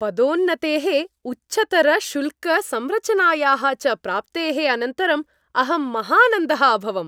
पदोन्नतेः, उच्चतरशुल्कसंरचनायाः च प्राप्तेः अनन्तरम् अहं महानन्दः अभवम्।